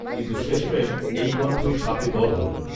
কিন্তু শেষমেশ এই কণ্ঠই শাপে বর হলো